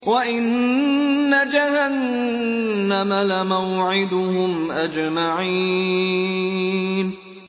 وَإِنَّ جَهَنَّمَ لَمَوْعِدُهُمْ أَجْمَعِينَ